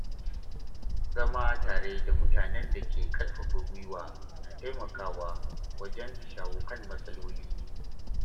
Zama tare da mutanen da ke ƙarfafa gwiwa na taimakawa wajen shawo kan matsaloli.